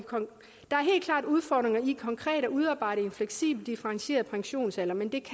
i konkret at udarbejde en fleksibel differentieret pensionsalder men det